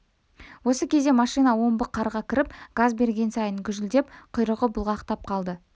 осы кезде машина омбы қарға кіріп газ берген сайын гүжілдеп құйрығы бұлғақтап қалды